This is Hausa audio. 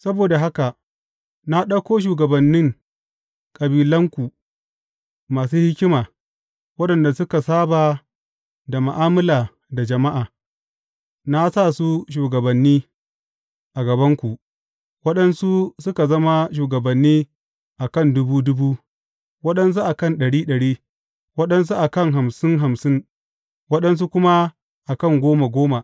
Saboda haka na ɗauko shugabannin kabilanku masu hikima, waɗanda suka saba da ma’amala da jama’a, na sa su shugabanni a gabanku, waɗansu suka zama shugabanni a kan dubu dubu, waɗansu a kan ɗari ɗari, waɗansu a kan hamsin hamsin, waɗansu kuma a kan goma goma.